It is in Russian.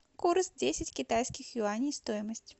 курс десять китайских юаней стоимость